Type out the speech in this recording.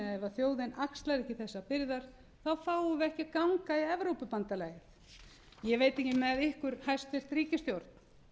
þjóðin axlar ekki þessar byrðar fáum við ekki að ganga í evrópusambandið ég veit ekki með ykkur hæstvirt ríkisstjórn